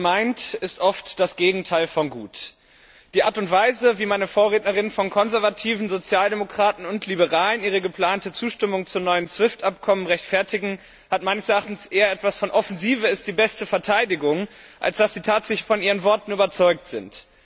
Gut gemeint ist oft das Gegenteil von gut. Die Art und Weise, wie meine Vorrednerinnen und Vorredner von Konservativen, Sozialdemokraten und Liberalen ihre geplante Zustimmung zum neuen SWIFT Abkommen rechtfertigen, hat meines Erachtens eher etwas von Offensive ist die beste Verteidigung, als dass sie tatsächlich von ihren Worten überzeugt sind.